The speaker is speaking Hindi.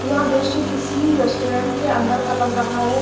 यह दृश्य किसी रेस्टोरेंट के अंदर का लग रहा है।